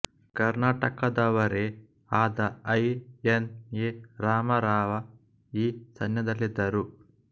ಕರ್ನಾಟಕದವರೇ ಆದ I N A Ramarao ಈ ಸೈನ್ಯದಲ್ಲಿದ್ದರು